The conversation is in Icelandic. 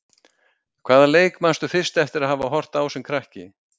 Hvaða leik manstu fyrst eftir að hafa horft á sem krakki?